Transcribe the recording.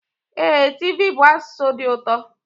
Ee, tiv bụ asụsụ dị ụtọ.